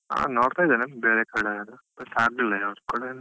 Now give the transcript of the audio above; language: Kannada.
ಹಾ ನೋಡ್ತಾ ಇದ್ದೇನೆ ಬೇರೆ ಕಡೆ ಎಲ್ಲ, ಸದ್ಯಕ್ಕೆ ಆಗ್ಲಿಲ್ಲ ಯಾವುದ್ ಕೂಡ.